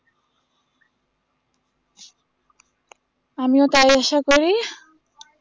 আমিও তাই আশা করি